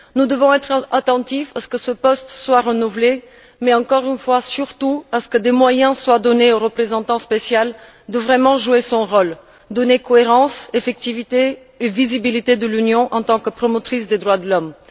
Nous devons être attentifs à ce que ce poste soit renouvelé mais, encore une fois, surtout à ce que des moyens soient donnés au représentant spécial pour vraiment jouer son rôle, donner cohérence, effectivité et visibilité à l'Union en tant que promotrice des droits de l'homme.